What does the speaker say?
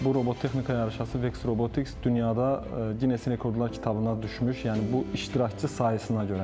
Bu robotexnika yarışması Vex Robotics dünyada qines rekordlar kitabına düşmüş, yəni bu iştirakçı sayısına görə.